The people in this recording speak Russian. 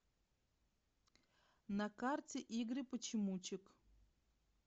на карте игры почемучек